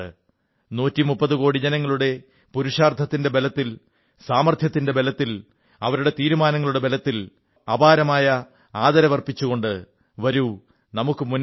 130 കോടി ജനങ്ങളുടെ പുരുഷാർത്ഥത്തിന്റെ ബലത്തിൽ സാമർഥ്യത്തിന്റെ ബലത്തിൽ അവരുടെ തീരുമാനങ്ങളുടെ ബലത്തിൽ അപാരമായ ആദരവർപ്പിച്ചുകൊണ്ട് വരൂ നമുക്ക് മുന്നേറാം